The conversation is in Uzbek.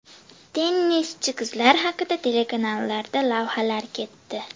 Tennischi qizlar haqida telekanallarda lavhalar ketdi.